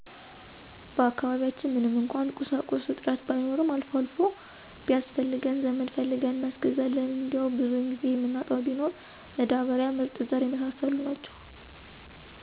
በአካባቢያችን ምንም እንኳን ቁሳቁሶች እጥረቱ ባይኖረም አልፎ አልፎ ቢያስፈልገን ዘመድ ፈልገን እናስገዛለን እንዴው ብዙን ጊዜ የምናጣው ቢኖር መዳበሪያ፣ ምርጥዘር የመሳሰሉት ናቸው